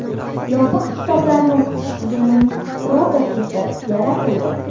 Yopiq kitoblarni o‘qish tizimining prototipi yaratildi.